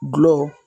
Gulɔ